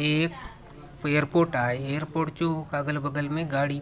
ये एयरपोर्ट आय एयरपोर्ट चो अगल - बगल ने गाड़ी